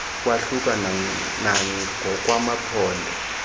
kwahluka nangokwa maphondo